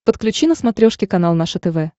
подключи на смотрешке канал наше тв